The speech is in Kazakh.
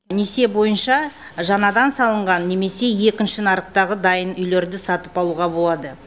несие бойынша жаңадан салынған немесе екінші нарықтағы дайын үйлерді сатып алуға болады